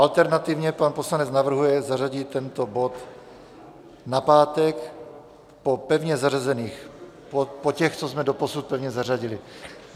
Alternativně pan poslanec navrhuje zařadit tento bod na pátek po pevně zařazených - po těch, co jsme doposud pevně zařadili.